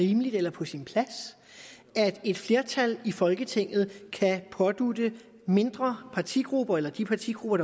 rimeligt eller på sin plads at et flertal i folketinget kan pådutte mindre partigrupper eller de partigrupper